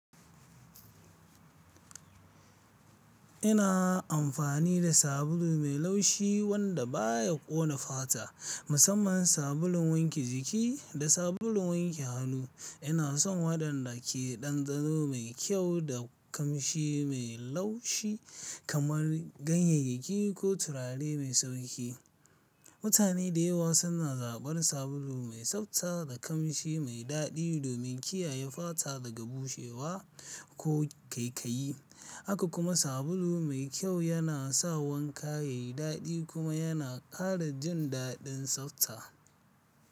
Ina amfani da sabulu mai laushi wanda baya ƙona fata, musamman sabulun wanke jiki da sabulun wanke hannu. Ina son waɗanda ke da ɗanɗano mai kyau da ƙamshi mai laushi kamar ganyeyake ko turare mai sauƙi. Mutane da yawa suna zaɓar sabulu mai tsabta da ƙamshi mai daɗi domin kiyaye fata daga bushewa ko ƙaikayi. Haka kuma sabulu mai kyau yana sa wanka yayi daɗi kuma yana ƙara jin daɗin tsabta.